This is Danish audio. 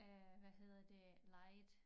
Øh hvad hedder det lied